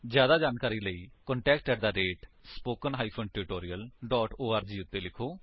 ਜਿਆਦਾ ਜਾਣਕਾਰੀ ਲਈ ਕ੍ਰਿਪਾ ਕੰਟੈਕਟ ਸਪੋਕਨ ਟਿਊਟੋਰੀਅਲ ਓਰਗ ਉੱਤੇ ਲਿਖੋ